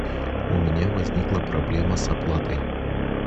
у меня возникла проблема с оплатой